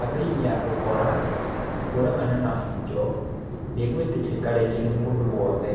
Kampeini ya ũkora, kũragana na bunjo ndĩ gwĩtĩkĩrĩka rĩngĩ nĩ mũndũo wothe.